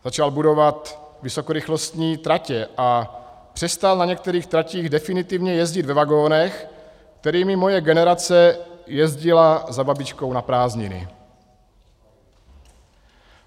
Začal budovat vysokorychlostní tratě a přestal na některých tratích definitivně jezdit ve vagonech, kterými moje generace jezdila za babičkou na prázdniny.